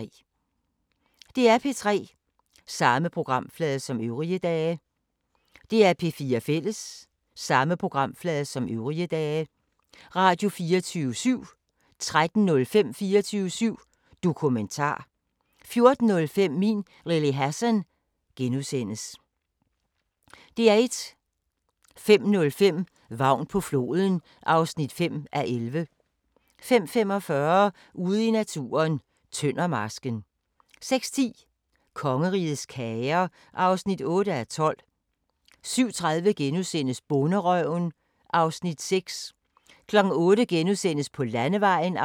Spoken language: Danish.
05:05: Vagn på floden (5:11) 05:45: Ude i naturen: Tøndermarsken 06:10: Kongerigets kager (8:12) 07:30: Bonderøven (Afs. 6)* 08:00: På landevejen (6:6)* 08:30: So F***ing Special: Seje kvinder (3:6)* 09:00: En ny begyndelse II (Afs. 3) 09:50: Downton Abbey V (8:10)* 11:00: Antikkrejlerne med kendisser (Afs. 1) 12:00: Bonderøven 2013 (Afs. 8)